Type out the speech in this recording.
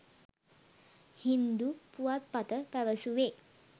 හින්දු පුවත්පත පැවසුවේ